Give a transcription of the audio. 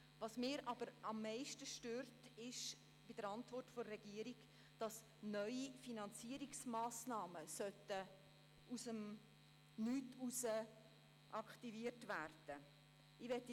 Was mich aber an der Antwort der Regierung am meisten stört, ist, dass neue Finanzierungsmassnahmen aus dem Nichts heraus aktiviert werden sollen.